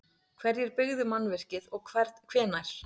Hverjir byggðu mannvirkið og hvenær?